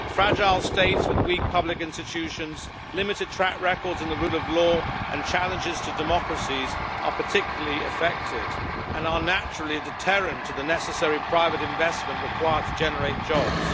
Fragile states with weak public institutions, limited track records in the rule of law, and challenges to democracies are particularly affected and are naturally a deterrent to the necessary private investment required to generate jobs.